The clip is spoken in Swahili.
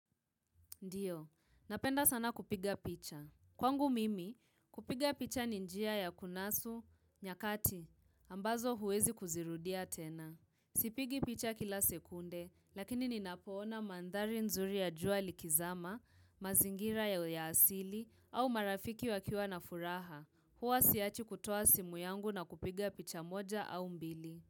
Ndio, napenda sana kupiga picha. Kwangu mimi, kupiga picha ni njia ya kunasu, nyakati, ambazo huwezi kuzirudia tena. Sipigi picha kila sekunde, lakini ninapoona mandhari nzuri ya juali kizama, mazingira ya uyasili, au marafiki wakiwa na furaha. Huwa siachi kutoa simu yangu na kupiga picha moja au mbili.